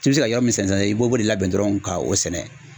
K'i bɛ se ka yɔrɔ min sɛnɛ i b'o bo de labɛn dɔrɔn ka o sɛnɛ.